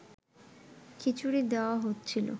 খিচুড়ি দেওয়া হচ্ছিল